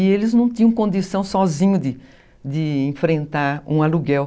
E eles não tinham condição sozinhos de de enfrentar um aluguel.